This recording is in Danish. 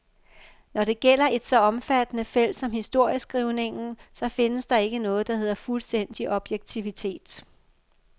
Når det gælder et så omfattende felt som historieskrivningen, så findes der ikke noget, der hedder fuldstændig objektivitet.